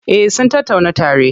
Eh sun tattauna tare.